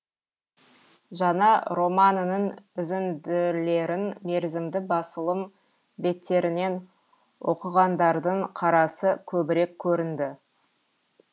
жаңа романының үзінділерін мерзімді басылым беттерінен оқығандардың қарасы көбірек көрінді